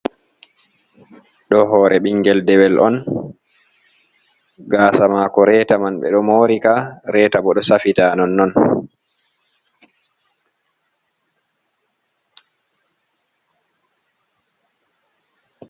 Ɗo hore ɓingel dewel on, gasa mako reeta man ɓe ɗo mori ka, reeta bo ɗo safita non non.